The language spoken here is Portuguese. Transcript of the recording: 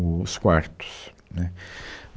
o os quartos, né